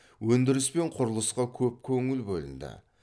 өндіріс пен құрылысқа көп көңіл бөлінді